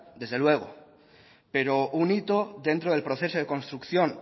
desde luego pero un hito dentro del proceso de construcción